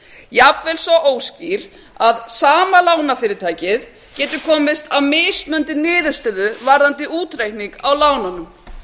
jafnvel svo óskýr að sama lánafyrirtækið getur komist að mismunandi niðurstöðu varðandi útreikning á lánunum